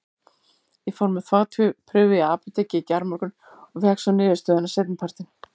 Ég fór með þvagprufu í apótekið í gærmorgun og fékk svo niðurstöðuna seinni partinn.